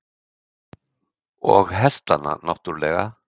Og hestana náttúrlega.